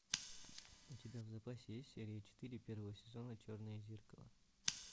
у тебя в запасе есть серия четыре первого сезона черное зеркало